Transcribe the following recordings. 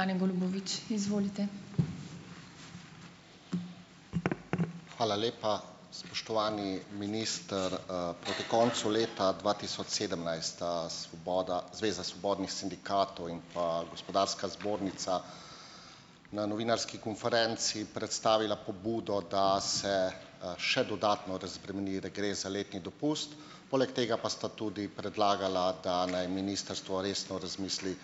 Hvala lepa. Spoštovani minister. Proti koncu leta dva tisoč sedemnajst sta svoboda Zveza svobodnih sindikatov in pa Gospodarska zbornica na novinarski konferenci predstavila pobudo, da se, še dodatno razbremeni regres za letni dopust, poleg tega pa sta tudi predlagala, da naj ministrstvo resno razmisli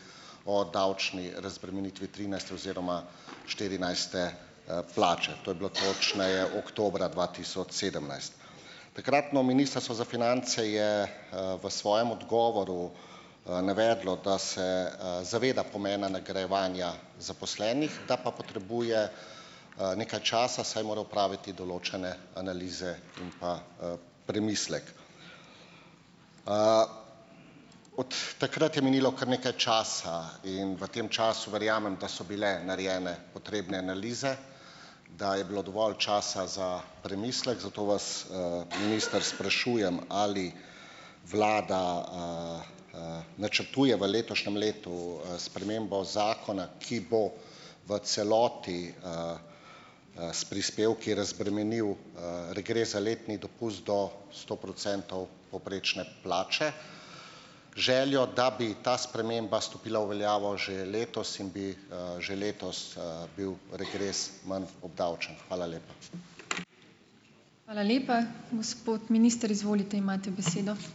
o davčni razbremenitvi trinajste oziroma štirinajste, plače. To je bilo točneje oktobra dva tisoč sedemnajst. Takratno Ministrstvo za finance je, v svojem odgovoru, navedlo, da se, zaveda pomena nagrajevanja zaposlenih, da pa potrebuje, nekaj časa, saj mora opraviti določene analize in pa, premislek. Od takrat je minilo kar nekaj časa. In v tem času verjamem, da so bile narejene potrebne analize, da je bilo dovolj časa za premislek, zato vas, minister, sprašujem, ali vlada, načrtuje v letošnjem letu, spremembo zakona, ki bo v celoti, s prispevki razbremenil, regres za letni dopust do sto procentov povprečne plače, z željo, da bi ta sprememba stopila v veljavo že letos in bi, že letos, bil regres manj obdavčen. Hvala lepa.